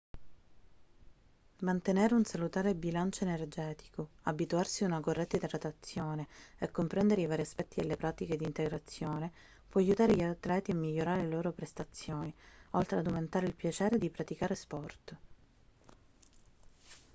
mantenere un salutare bilancio energetico abituarsi a una corretta idratazione e comprendere i vari aspetti delle pratiche di integrazione può aiutare gli atleti a migliorare le loro prestazioni oltre ad aumentare il piacere di praticare sport